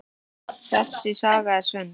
Þessi saga er sönn.